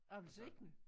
Appelsiner